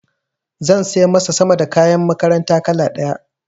Za sai masa sama da kayan makaranta kala ɗaya.